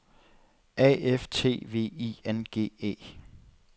A F T V I N G E